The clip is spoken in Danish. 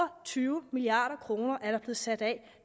tyve milliard kroner er der blevet sat af